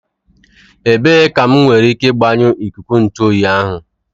Ebee ka m nwere ike gbanyụọ ikuku ntu oyi ahu